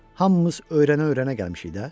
Hamımız öyrənə-öyrənə gəlmişik də.